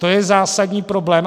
To je zásadní problém.